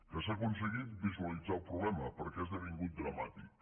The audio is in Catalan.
que s’ha aconseguit visualitzar el problema perquè ha esdevingut dramàtic